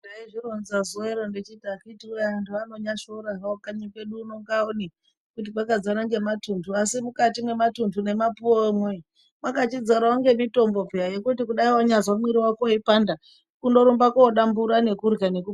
Ndaizvironza zuwa rino ndechiti akiti woye andu anonyashora hawo kanyi kwedu uno Ngaone kuti kwakadzara nematundu asi mukati mwematundu nemapuwe mwo mwakachidzarawo ngemitombo peya, yekuti dai wanyazwa mwiri wako weipanda, kungorumba kodambura nekutorya